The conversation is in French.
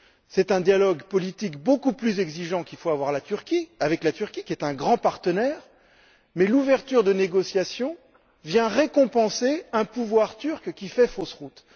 C'est un dialogue politique beaucoup plus exigeant qu'il faut avoir avec la Turquie, qui est un grand partenaire, mais l'ouverture de chapitres de négociation vient récompenser un pouvoir turc qui fait fausse route.